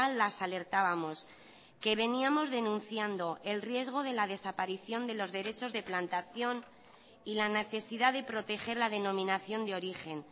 las alertábamos que veníamos denunciando el riesgo de la desaparición de los derechos de plantación y la necesidad de proteger la denominación de origen